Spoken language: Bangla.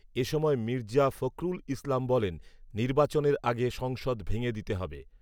এসময় মির্জা ফখরুল ইসলাম বলেন, নির্বাচনের আগে সংসদ ভেঙে দিতে হবে